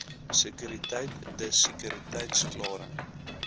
sekuriteit dis sekuriteitsklaring